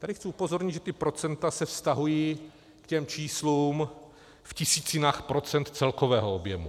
Tady chci upozornit, že ta procenta se vztahují k těm číslům v tisícinách procent celkového objemu.